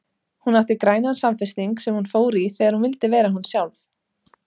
Hún átti grænan samfesting sem hún fór í þegar hún vildi vera hún sjálf.